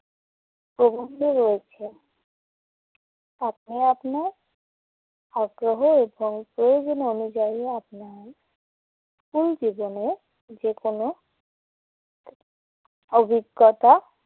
প্রবন্ধ রয়েছে। আপনি আপনার আগ্রহ এবং প্রয়োজন অনুযায়ী আপনার স্কুল জীবনের যেকোন অভিজ্ঞতা